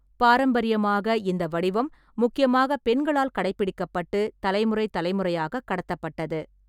பாரம்பரியமாக, இந்த வடிவம் முக்கியமாக பெண்களால் கடைபிடிக்கப்பட்டு, தலைமுறை தலைமுறையாக கடத்தப்பட்டது.